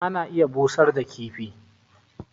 ana iya busar da kifi